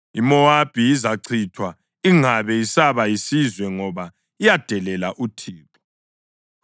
IMowabi izachithwa ingabe isaba yisizwe ngoba yadelela uThixo.